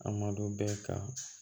A malo bɛɛ ka